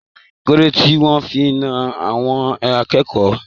Kilode tí wọn fí nà àwọn akẹ́kọ̀ọ́?